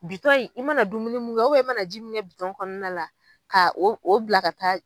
Bitɔn in, i mana dumuni mun kɛ i mana ji min kɛ bitɔn kɔnɔna la k'o o bila ka taa.